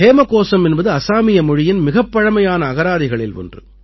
ஹேமகோசம் என்பது அசாமிய மொழியின் மிகப் பழமையான அகராதிகளில் ஒன்று